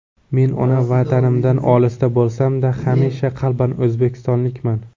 Men ona Vatanimdan olisda bo‘lsam-da, hamisha qalban o‘zbekistonlikman.